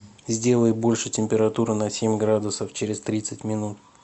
сделай больше температуру на семь градусов через тридцать минут